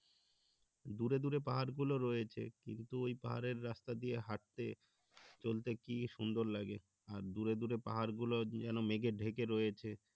দূরে দূরে পাহাড় গুলো রয়েছে কিন্তু ওই পাহাড়ের রাস্তা দিয়ে হাঁটতে চলতে কি সুন্দর লাগে আর দূরে দূরে পাহাড় গুলো যেন মেঘে ঢেকে রয়েছে